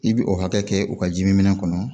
I bi o hakɛ kɛ u ka jiminɛn kɔnɔ